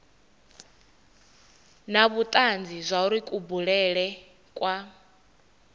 na vhutanzi zwauri kubulele kwa